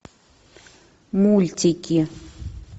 мультики